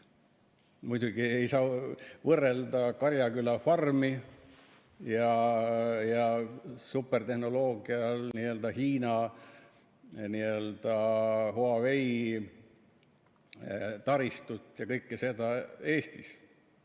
Muidugi ei saa võrrelda Karjaküla farmi ja supertehnoloogial põhinevat Hiina Huawei taristut ja kõike seda Eestis.